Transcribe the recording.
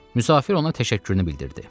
Müsafir ona təşəkkürünü bildirdi.